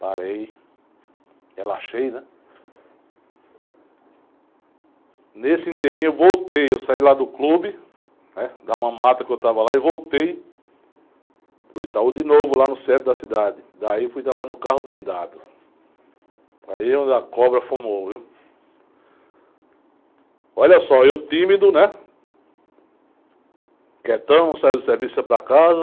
Parei... Relaxei, né?... Nesse eu voltei... Eu saí lá do clube... Da mamata que eu estava lá... E voltei... Para o de novo... Lá no centro da cidade... Daí eu fui trabalhar no carro blindado... Aí é onde a cobra fumou, viu?... Olha só... Eu tímido, né?... Quietão... Saí do serviço e saí para casa...